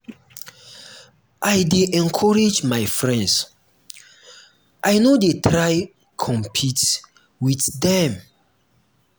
i dey encourage my friends i no dey try compete wit dem.